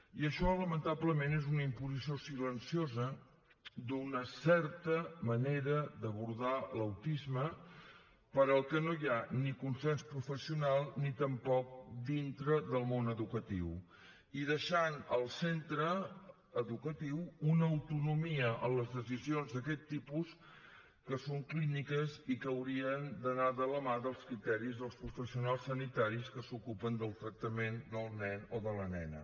i això lamentablement és una imposició silenciosa d’una certa manera d’abordar l’autisme per al que no hi ha ni consens professional ni tampoc dintre del món educatiu i deixant al centre educatiu una autonomia en les decisions d’aquest tipus que són clíniques i que haurien d’anar de la mà dels criteris dels professionals sanitaris que s’ocupen del tractament del nen o de la nena